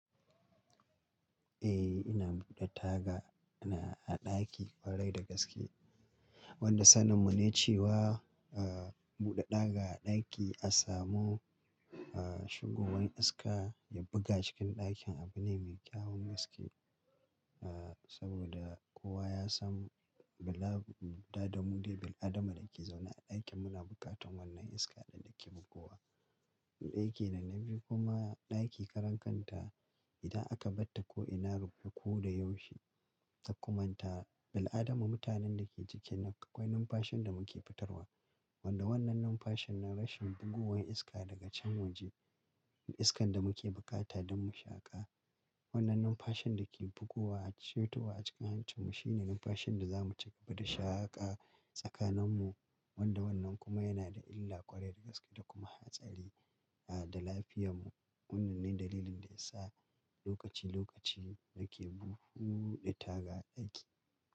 Eh, ina buɗe taga a ɗaki ƙwarai da gaske. Wanda sanin mu ne cewa, ah, buɗe ɗaga a ɗaki a samu, ah, shigowar iska ya buga cikin ɗakin abu ne mai kyawun gaske. Ah, saboda kowa ya san bila, buɗa damu lebel adama da ke zaune a ɗakin muna bukatan wannan iska da ke buguwa. Muɗa yake nan, na bi kuma ɗaki karen kanta idan aka ɓatta ko ina rufi ko da yaushe ta kumanta bil'adama mutanen da ke ciki nan akwai numfashin da muke fitarwa. Wanda wannan numfashin na rashin bugowan iska daga can waje. Iskan da muke bukata don mu shaƙa. Wannan numfashin da ke buguwa a cirtowa a cikin hancinmu shine numfashin da zamu ci gaba da shaƙa tsakaninmu. Wanda wannan kuma yana da illa ƙwarai da gaske da kuma hatsari, ah, da lafiyanmu. Wannan ne dalilin da ya sa lokaci-lokaci nake buhuɗe taga a ɗaki.